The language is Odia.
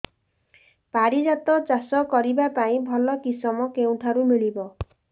ପାରିଜାତ ଚାଷ କରିବା ପାଇଁ ଭଲ କିଶମ କେଉଁଠାରୁ ମିଳିବ